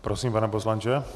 Prosím, pane poslanče.